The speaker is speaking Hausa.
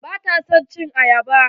Bata son cin ayaba.